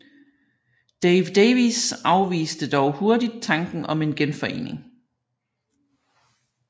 Dave Davies afviste dog hurtigt tanken om en genforening